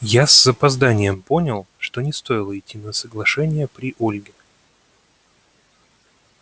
я с опозданием понял что не стоило идти на соглашение при ольге